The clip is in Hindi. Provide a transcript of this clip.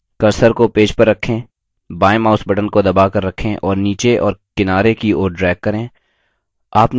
cursor को पेज पर रखें बाएँ mouse button को दबाकर रखें और नीचे और किनारे की ओर drag करें